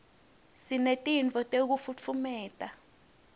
sinetinto tekufutfumata